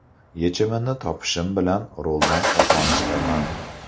Yechimini topishim bilan roldan oson chiqaman.